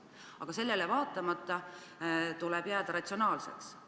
Aga sellele vaatamata tuleb jääda ratsionaalseks.